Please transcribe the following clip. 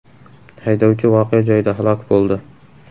Haydovchi voqea joyida halok bo‘ldi.